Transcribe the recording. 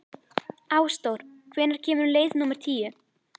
Ásdór, hvenær kemur leið númer tíu?